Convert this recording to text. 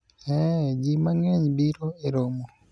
eeh, jii mang'eny biro e romo